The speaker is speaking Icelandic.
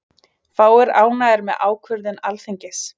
Fáir ánægðir með ákvörðun Alþingis